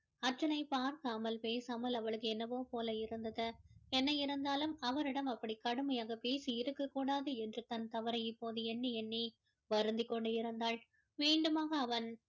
அர்ஜுனை பார்க்காமல் பேசாமல் அவளுக்கு என்னவோ போல இருந்தது என்ன இருந்தாலும் அவரிடம் அப்படி கடுமையாக பேசி இருக்கக் கூடாது என்று தன் தவறை இப்போது எண்ணி எண்ணி வருந்திக் கொண்டு இருந்தாள் மீண்டுமாக அவன்